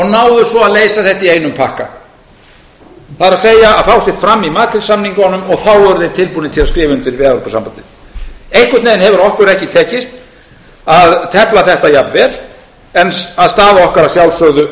náðu svo að leysa þetta í einum pakka það er fá sitt fram í makrílsamningunum og þá voru þeir tilbúnir til að skrifa undir við evrópusambandið einhvern veginn hefur okkur ekki tekist að tefla þetta jafnvel en staða okkar er að